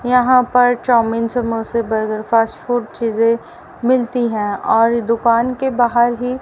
यहां पर चाऊमीन समोसे बर्गर फास्ट फूड चीजें मिलती हैं और दुकान के बाहर ही --